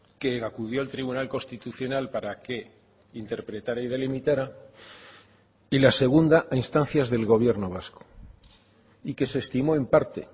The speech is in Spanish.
que acudió al tribunal constitucional para que interpretara y delimitara y la segunda a instancias del gobierno vasco y que se estimó en parte